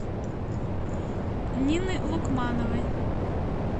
нины лукмановой